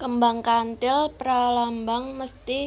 Kembang Kantil pralambang mesthi